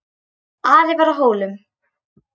Ari var á Hólum.